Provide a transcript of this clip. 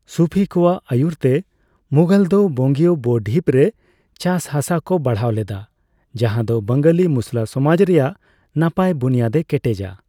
ᱥᱩᱯᱷᱤ ᱠᱚᱣᱟᱜ ᱟᱹᱭᱩᱨᱛᱮ ᱢᱩᱜᱷᱚᱞ ᱠᱚ ᱵᱚᱝᱜᱤᱭᱚ ᱵᱚᱼᱰᱷᱤᱯᱨᱮ ᱪᱟᱥᱦᱟᱥᱟᱠᱚ ᱵᱟᱲᱦᱟᱣ ᱞᱮᱫᱟ, ᱡᱟᱦᱟᱫᱚ ᱵᱟᱝᱜᱟᱞᱤ ᱢᱩᱥᱞᱟᱹ ᱥᱚᱢᱟᱡ ᱨᱮᱭᱟᱜ ᱱᱟᱯᱟᱭ ᱵᱩᱱᱤᱭᱟᱹᱫᱮ ᱠᱮᱴᱮᱡᱟ ᱾